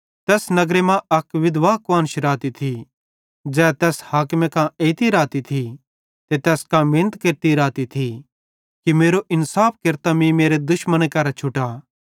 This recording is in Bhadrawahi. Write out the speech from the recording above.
तैस नगर मां अक विधवा कुआन्श रहती थी ज़ै तैस हाकिमे कां एइती रहती थी ते तैस कां मिनत केरती रहती थी कि मेरो इन्साफ केरतां मीं मेरे दुश्मने करां छुटा